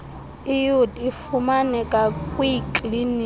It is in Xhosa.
iud ifumaneka kwiikliniki